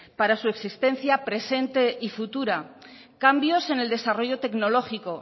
para su existencia presente y futura cambios en el desarrollo tecnológico